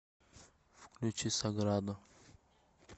включи саграду